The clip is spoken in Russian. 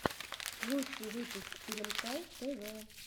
лучший выпуск теремка тв